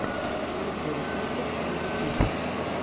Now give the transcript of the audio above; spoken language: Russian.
найти рецепты эмили туб